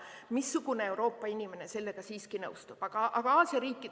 Missugune Euroopa inimene sellega nõustub?